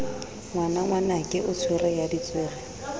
ngwanangwanake o tswere ya ditswere